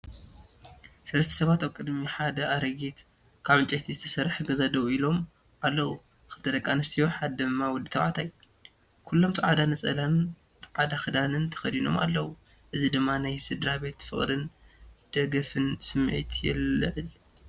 ሰለስተ ሰባት ኣብ ቅድሚ ሓደ ኣረጊት ካብ ዕንጨይቲ ዝተሰርሐ ገዛ ደው ኢሎም ኣለዉ። ክልተ ደቂ ኣንስትዮ ሓደ ድማ ወዲ ተባዕታይ፤ ኩሎም ጻዕዳ ነፃላን ጻዕዳ ክዳንን ተኸዲኖም ኣለዉ። እዚ ድማ ናይ ስድራቤት ፍቕርን ደገፍን ስምዒት የለዓዕል።